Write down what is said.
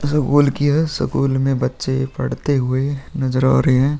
School की है school में बच्चे पढ़ते हुए नजर आ रहे हैं।